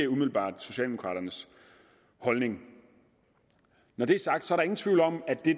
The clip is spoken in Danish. umiddelbart socialdemokraternes holdning når det er sagt er der ingen tvivl om at det